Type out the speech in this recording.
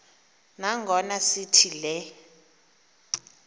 nangona sithi le